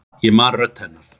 Ég man röddina hennar.